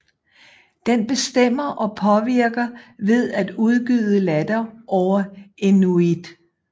Den bestemmer og påvirker ved at udgyde latter over inuit